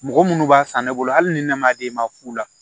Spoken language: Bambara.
Mɔgɔ munnu b'a san ne bolo hali ni ne ma di e ma fu la